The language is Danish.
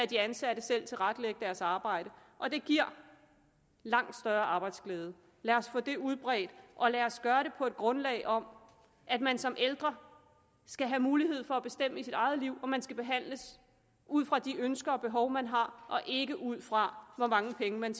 de ansatte selv tilrettelægge deres arbejde og det giver langt større arbejdsglæde lad os få det udbredt og lad os gøre det på et grundlag om at man som ældre skal have mulighed for at bestemme i sit eget liv og at man skal behandles ud fra de ønsker og behov man har og ikke ud fra hvor mange penge man